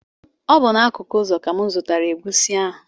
Ọ bụ n’akụkụ okporo ụzọ ka m zụtara egusi ahụ